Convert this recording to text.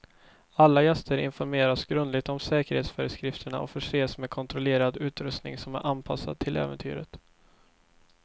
Alla gäster informeras grundligt om säkerhetsföreskrifterna och förses med kontrollerad utrustning som är anpassad till äventyret.